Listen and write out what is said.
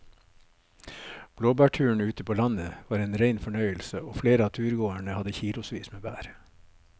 Blåbærturen ute på landet var en rein fornøyelse og flere av turgåerene hadde kilosvis med bær.